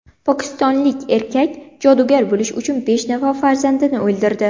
Pokistonlik erkak jodugar bo‘lish uchun besh nafar farzandini o‘ldirdi.